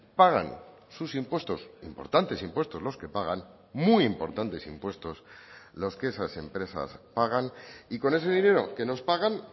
pagan sus impuestos importantes impuestos los que pagan muy importantes impuestos los que esas empresas pagan y con ese dinero que nos pagan